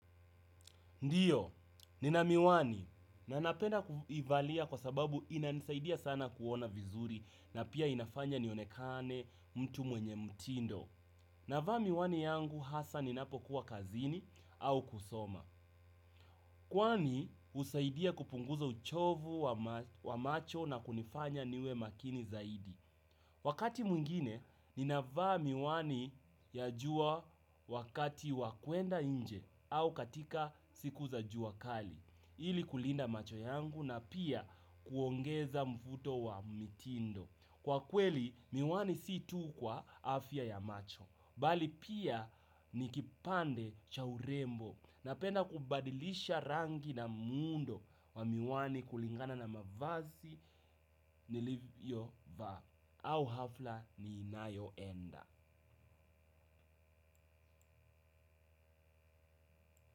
Ndiyo, nina miwani na napenda kuivalia kwa sababu inanisaidia sana kuona vizuri na pia inafanya nionekane mtu mwenye mtindo. Navaa miwani yangu hasa ninapo kuwa kazini au kusoma. Kwani usaidia kupunguza uchovu wa macho na kunifanya niwe makini zaidi. Wakati mwingine, ninavaa miwani ya jua wakati wa kwenda inje au katika siku za jua kali. Ili kulinda macho yangu na pia kuongeza mvuto wa mitindo. Kwa kweli miwani si tu kwa afya ya macho. Bali pia nikipande cha urembo. Napenda kubadilisha rangi na muundo wa miwani kulingana na mavazi nilivyo vaa. Au hafla ninayo enda.